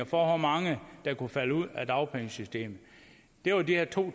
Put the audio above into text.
hvor mange der kunne falde ud af dagpengesystemet det var de her to